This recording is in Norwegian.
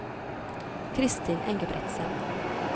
Christin Engebretsen